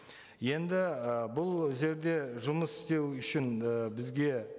енді ы бұл зерде жұмыс істеу үшін ы бізге